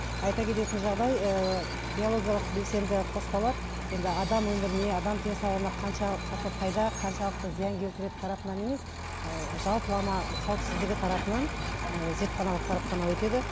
айта кететін жағдай ыыы биологиялық белсенді қоспалар енді адам өміріне адам денсаулығына қаншалықты пайда қаншалықты зиян келтіретін тарапынан емес ыыы жалпылама қауіпсіздігі тарапынан ііі зертханалық сараптама өтеді